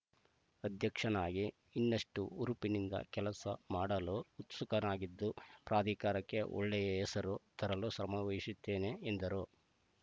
ಅಧ್ಯಕ್ಷನಾಗಿ ಇನ್ನಷ್ಟುಹುರುಪಿನಿಂದ ಕೆಲಸ ಮಾಡಲು ಉತ್ಸುಕನಾಗಿದ್ದು ಪ್ರಾಧಿಕಾರಕ್ಕೆ ಒಳ್ಳೆಯ ಹೆಸರು ತರಲು ಶ್ರಮ ವಹಿಸುತ್ತೇನೆ ಎಂದರು